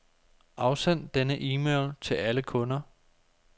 Afsend denne e-mail til alle kunder.